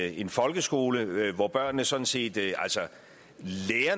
en folkeskole hvor børnene sådan set lærer